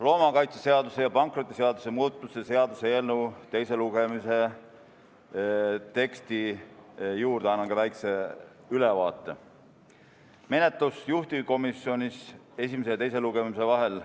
Loomakaitseseaduse ja pankrotiseaduse muutmise seaduse eelnõu teise lugemise teksti juurde annan ka väikese ülevaate menetlusest juhtivkomisjonis esimese ja teise lugemise vahel.